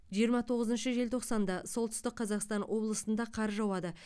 жиырма тоғызыншы желтоқсанда солтүстік қазақстан облысында қар жауады